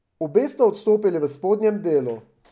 Obe sta odstopili v spodnjem delu.